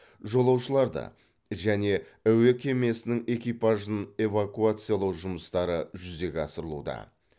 жолаушыларды және әуе кемесінің экипажын эвакуациялау жұмыстары жүзеге асырылуда